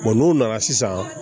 n'u nana sisan